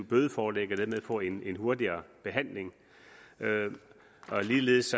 bødeforlæg og dermed få en en hurtig behandling ligeledes